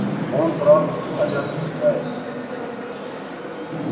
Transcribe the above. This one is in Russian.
он правда всухомятку питается